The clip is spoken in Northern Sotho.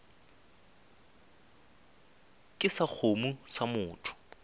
ke sa kgomo sa motho